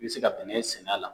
I bɛ se ka bɛnɛ sɛnɛ a la.